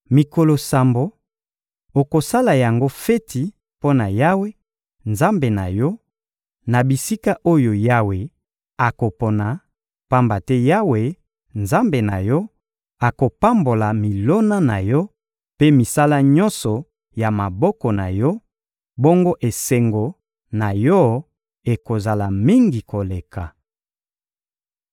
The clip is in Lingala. Mikolo sambo, okosala yango feti mpo na Yawe, Nzambe na yo, na bisika oyo Yawe akopona; pamba te Yawe, Nzambe na yo, akopambola milona na yo mpe misala nyonso ya maboko na yo; bongo esengo na yo ekozala mingi koleka.